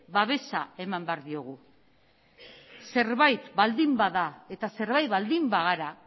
babesa eman behar diogu zerbait baldin bada eta zerbait baldin bagara